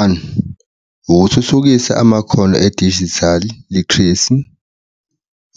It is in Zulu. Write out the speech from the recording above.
One, ukuthuthukisa amakhono edijithali literacy,